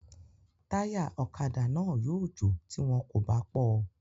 Táyà ọ̀kadà náà yóò jò tí wọn kò bá pọ́ ọ